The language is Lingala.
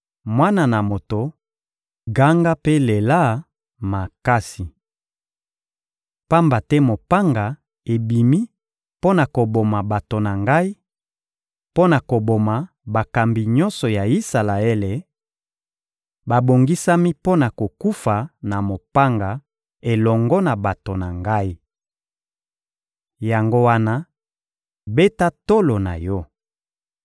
Mwana na moto, ganga mpe lela makasi! Pamba te mopanga ebimi mpo na koboma bato na ngai, mpo na koboma bakambi nyonso ya Isalaele; babongisami mpo na kokufa na mopanga elongo na bato na ngai. Yango wana, beta tolo na yo!